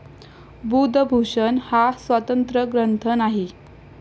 बुधभूषण हा स्वतंत्र ग्रंथ नाही.